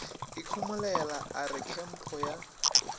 ikhomolela a re kempho ya